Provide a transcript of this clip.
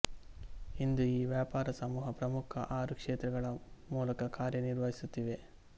ಇಂದು ಈ ವ್ಯಾಪಾರ ಸಮೂಹ ಪ್ರಮುಖ ಆರು ಕ್ಷೇತ್ರಗಳ ಮೂಲಕ ಕಾರ್ಯ ನಿರ್ವಹಿಸುತ್ತಿದೆ